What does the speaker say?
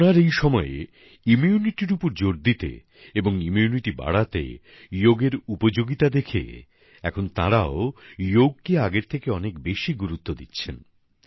করোনার এই সময়ে রোগ প্রতিরোধের উপর জোর দিতে এবং রোগ প্রতিরোধ বাড়াতে যোগের উপযোগিতা দেখে এখন তাঁরাও যোগকে আগের থেকে বেশি গুরুত্ব দিচ্ছেন